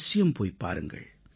அவசியம் போய் வாருங்கள்